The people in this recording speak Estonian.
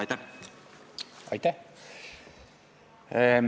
Aitäh!